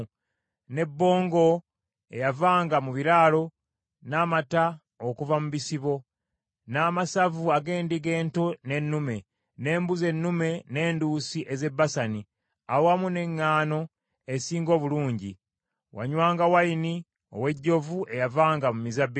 ne bbongo eyavanga mu biraalo, n’amata okuva mu bisibo, n’amasavu ag’endiga ento n’ennume, n’embuzi ennume n’enduusi ez’e Basani, awamu n’eŋŋaano esinga obulungi, wanywanga wayini ow’ejjovu eyavanga mu mizabbibu.